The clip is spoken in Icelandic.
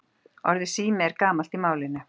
Orðið sími er gamalt í málinu.